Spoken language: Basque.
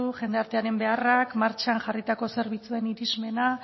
jendartearen beharrak martxan jarritako zerbitzuen irismena